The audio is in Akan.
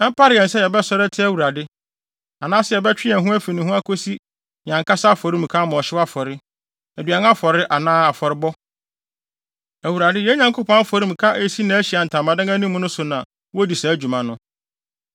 “Ɛmpare yɛn sɛ yɛbɛsɔre atia Awurade, anaasɛ yɛbɛtwe yɛn ho afi ne ho akosi yɛn ankasa afɔremuka ama ɔhyew afɔre, aduan afɔre anaa afɔrebɔ. Awurade, yɛn Nyankopɔn afɔremuka a esi nʼAhyiae Ntamadan anim no so na wodi saa dwuma no.”